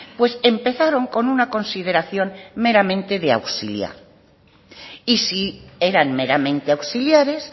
pues empezaron con una consideración meramente de auxiliar y si eran meramente auxiliares